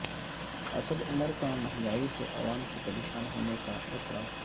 اسد عمر کا مہنگائی سے عوام کے پریشان ہونے کا اعتراف